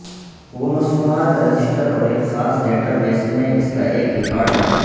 وہ مصنوعات رجسٹر اور ایک خاص ڈیٹا بیس میں اس کا ایک ریکارڈ بنا